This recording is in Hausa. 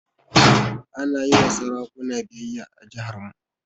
Ana yi wa sarakuna biyayya a jiharmu.